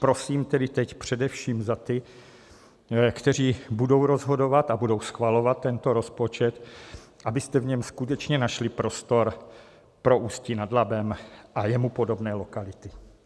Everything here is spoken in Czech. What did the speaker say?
Prosím tedy teď především za ty, kteří budou rozhodovat a budou schvalovat tento rozpočet, abyste v něm skutečně našli prostor pro Ústí nad Labem a jemu podobné lokality.